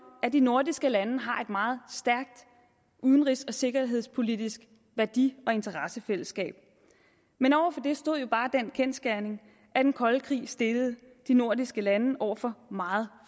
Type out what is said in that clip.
at de nordiske lande har meget stærkt udenrigs og sikkerhedspolitisk værdi og interessefællesskab men over for det stod jo bare den kendsgerning at den kolde krig stillede de nordiske lande over for meget